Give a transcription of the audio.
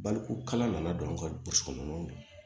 Baliku kala nana don anw ka burusi kɔnɔ ninnu na